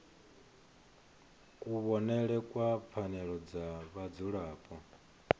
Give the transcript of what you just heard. kuvhonele kwa pfanelo dza vhadzulapo